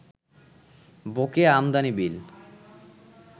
বকেয়া আমদানি বিল